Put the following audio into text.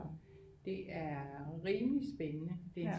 Det er rimeligt spændende